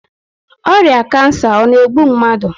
Ọrịa kansa ọ na-egbu mmadụ?